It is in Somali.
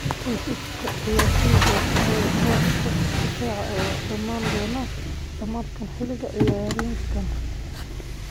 Heshiiska ciyaartoygaas ee booska difaaca ayaa dhammaan doona dhammaadka xilli ciyaareedkan.